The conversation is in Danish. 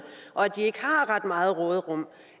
og at de ikke har ret meget råderum